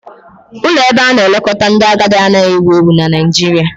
Ụlọ ebe ana-elekọta ndị agadi anaghị ewu ewu na Nigeria